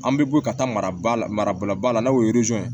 An bɛ bɔ ka taa mara maraba la n'o ye ye